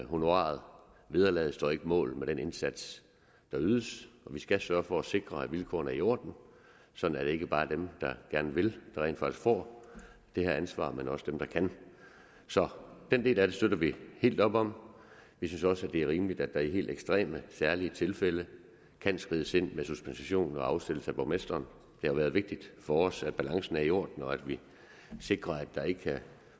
honoraret vederlaget står ikke mål med den indsats der ydes vi skal sørge for at sikre at vilkårene er i orden sådan at det ikke bare er dem der gerne vil der rent faktisk får det her ansvar men også dem der kan så den del af det støtter vi helt op om vi synes også det er rimeligt at der i helt ekstreme særlige tilfælde kan skrides ind med suspension og afsættelse af borgmesteren det har været vigtigt for os at balancen er i orden og at vi sikrer at der ikke kan